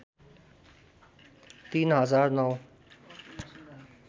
३ हजार ९